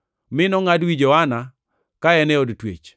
mi nongʼad wi Johana ka en e od twech.